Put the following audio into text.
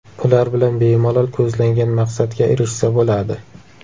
Ular bilan bemalol ko‘zlangan maqsadga erishsa bo‘ladi.